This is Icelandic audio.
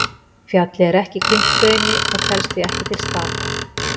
Fjallið er ekki krýnt hrauni og telst því ekki til stapa.